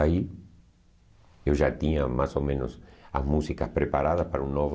Aí eu já tinha mais ou menos as músicas preparadas para um novo